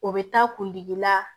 O bɛ taa kundigi la